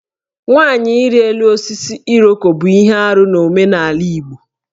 Nwanyị ịrị elu osisi Iroko bụ ihe arụ n'omenala Igbo